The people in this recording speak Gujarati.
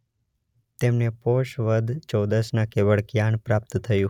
તેમને પોષ વદ ચૌદસના કેવળ જ્ઞાન પ્રાપ્ત થયું.